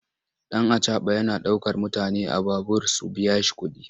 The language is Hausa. Ɗan acaɓa yana ɗaukar mutane a babur su biya kuɗi.